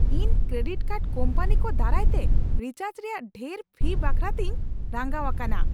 ᱤᱧ credit card company ᱠᱚ ᱫᱟᱨᱟᱭᱛᱮ ᱨᱤᱪᱟᱨᱡᱽ ᱨᱮᱭᱟᱜ ᱰᱷᱮᱨ ᱯᱷᱤ ᱵᱟᱠᱷᱨᱟ ᱛᱤᱧ ᱨᱟᱸᱜᱟᱣ ᱟᱠᱟᱱᱟ ᱾